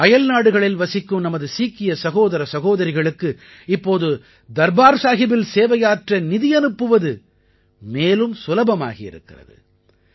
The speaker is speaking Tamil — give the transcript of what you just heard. அயல்நாடுகளில் வசிக்கும் நமது சீக்கிய சகோதர சகோதரிகளுக்கு இப்போது தர்பார் சாஹிபில் சேவையாற்ற நிதி அனுப்புவது மேலும் சுலபமாகி இருக்கிறது